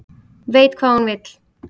Veit hvað hún vill